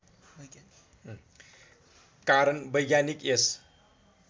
कारण वैज्ञानिक यस